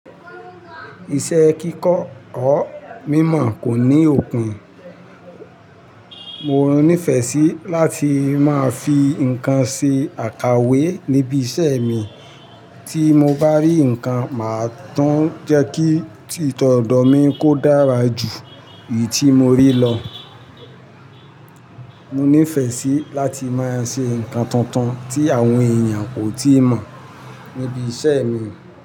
Iṣẹ́ kíkọ́ or mímọ̀ kò ní òpin. Mo nífẹ̀ẹ́ sí láti máa fi nǹkan ṣe àkàwé níbi iṣẹ́ mi. Tí mo bá rí nǹkan, màá tún jẹ́ kí ti tọ̀dọ̀ mi kó dára jù èyí tí mo rí lọ. Mo nífẹ̀ẹ́ sí láti máa ṣe nǹkan tuntun tí àwọn èèyàn kò tíì mọ̀ níbi iṣẹ́ mi.